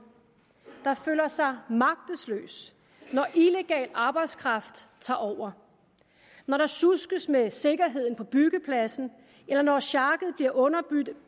der føler sig magtesløs når illegal arbejdskraft tager over når der sjuskes med sikkerheden på byggepladsen eller når sjakket bliver underbudt af